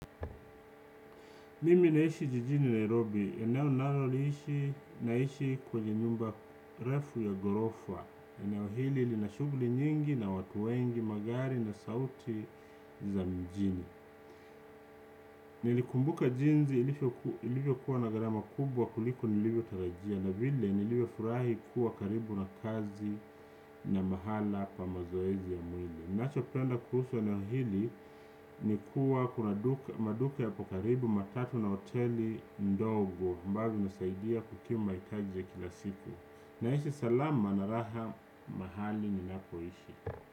Mimi naishi jijini Nairobi, eneo nalo liishi, naishi kwenye nyumba refu ya gorofa, eneo hili lina shughuli nyingi na watu wengi, magari na sauti za mijini. Nilikumbuka jinsi ilivyo kuwa na garama kubwa kuliku nilivyo tarajia, na vile nilivyo furahi kuwa karibu na kazi na mahala pa mazoezi ya mwili. Nachopenda kuhusu eneo hili ni kuwa kuna duka maduka yapo karibu matatu na hoteli ndogo ambazo zinasaidia kukimu mahitaji ya kila siku naishi salama na raha mahali ninapoishi.